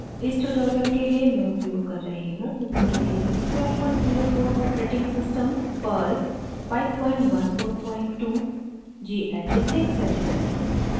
इस ट्यूटोरियल के लिए मैं उपयोग कर रही हूँ: